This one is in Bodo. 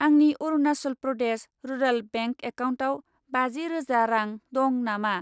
आंनि अरुनासल प्रदेश रुराल बेंक एकाउन्टआव बाजि रोजा रां दं नामा?